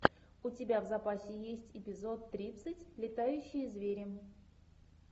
у тебя в запасе есть эпизод тридцать летающие звери